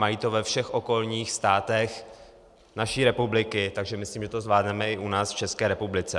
Mají to ve všech okolních státech naší republiky, takže myslím, že to zvládneme i u nás, v České republice.